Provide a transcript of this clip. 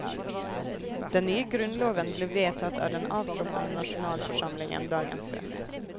Den nye grunnloven ble vedtatt av den avtroppende nasjonalforsamlingen dagen før.